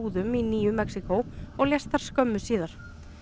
búðum í nýju Mexíkó og lést þar skömmu síðar